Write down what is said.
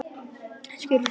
Skerið í litla bita.